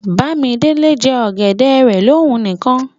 Bàmídélé n jẹ̀ ọgẹ̀dẹ̀ rẹ̀ lọ̀ún níkan.